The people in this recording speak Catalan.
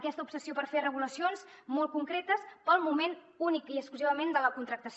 aquesta obsessió per fer regulacions molt concretes pel moment únic i exclusivament de la contractació